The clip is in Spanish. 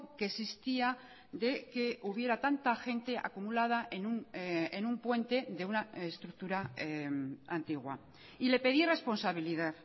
que existía de que hubiera tanta gente acumulada en un puente de una estructura antigua y le pedí responsabilidad